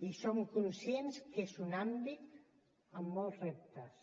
i som conscients que és un àmbit amb molts reptes